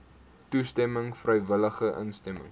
toestemming vrywillige instemming